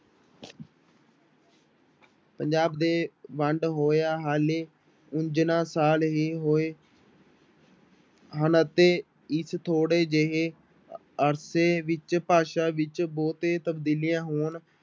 ਪੰਜਾਬ ਦੇ ਵੰਡ ਹੋਇਆਂ ਹਾਲੀ ਸਾਲ ਹੀ ਹੋਏ ਹਨ ਅਤੇ ਇਸ ਥੋੜ੍ਹੇ ਜਿਹੇ ਅਰਸੇ ਵਿੱਚ ਭਾਸ਼ਾ ਵਿੱਚ ਬਹੁਤੇ ਤਬਦੀਲੀਆਂ ਹੋਣ